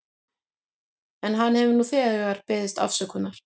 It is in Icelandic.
En hann hefur nú þegar beðist afsökunar.